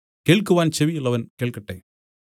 കേൾക്കുവാൻ ചെവിയുള്ളവൻ കേൾക്കട്ടെ